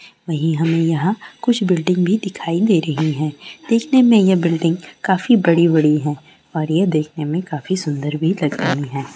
वोहीं हम यहां कुछ बिल्डिंग भी दिखाई दे रही है देखने में यह बिल्डिंग काफी बड़ी बड़ी है और यह देखने में काफी सुंदर भी लग रहि है।